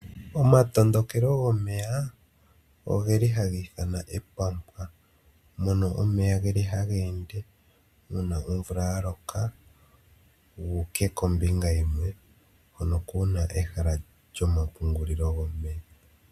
Omatondokelo gomeya ogeli haga iithanwa omapwanka, moka omeya geli haga ende shanpa omvula ya loka, guuke kombinga yimwe, kehala hoka kuna omapungulilo gomeya.